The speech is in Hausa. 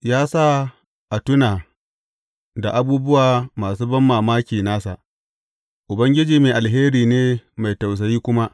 Ya sa a tuna da abubuwa masu banmamaki nasa; Ubangiji mai alheri ne mai tausayi kuma.